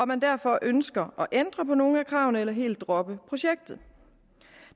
man derfor ønsker at ændre på nogle af kravene eller helt at droppe projektet